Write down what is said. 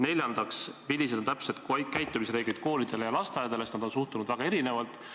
Neljandaks, millised on täpsed käitumisreeglid koolidele ja lasteaedadele, sest nende suhtumine on seni olnud väga erinev?